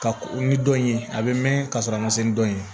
Ka ni dɔn in ye a bɛ mɛn ka sɔrɔ a ma se ni dɔ ye